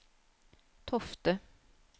Tofte